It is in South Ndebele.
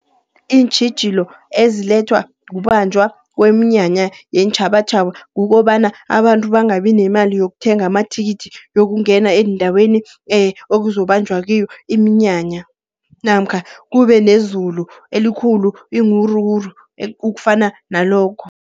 Iintjhijilo ezilethwa kubanjwa kweminyanya yeentjhabatjhaba kukobana, abantu bangabi nemali yokuthenga amathikithi, wokungena eendaweni ekuzobanjwa kiyo iminyanya. Namkha kube nezulu elikhulu iiwuruwuru ukufana nalokho.